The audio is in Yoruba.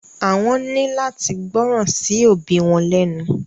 Àwọn ni láti gbọràn sí òbí wọn lẹnu.